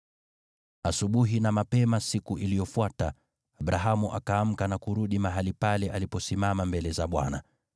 Asubuhi na mapema siku iliyofuata, Abrahamu akaamka na kurudi mahali pale aliposimama mbele za Bwana .